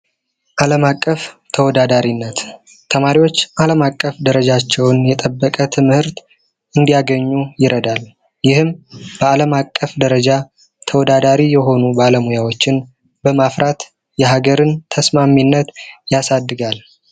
ዓለም አቀፍ ተወዳዳሪነት ተማሪዎች ዓለም አቀፍ ደረጃቸውን የጠበቀ ትምህርት እንዲያገኙ ይረዳል። ይህም በዓለም አቀፍ ደረጃ ተወዳዳሪ የሆኑ ባለምያዎችን በማፍራት የሀገርን ተስማሚነት ያሳድጋል።